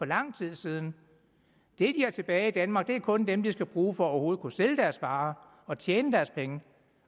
lang tid siden det har tilbage i danmark er kun dem de skal bruge for overhovedet at kunne sælge deres varer og tjene deres penge